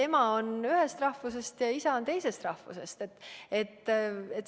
Ema võib olla ühest rahvusest ja isa teisest rahvusest.